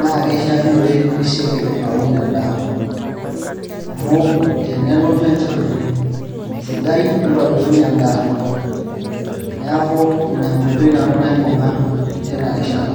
naa kishiakinore nisioki aaun endaa amu tenelotu enchan sidai nitobirunye endaa neeku ina enkoitoi nanu naibung'a tina rishata.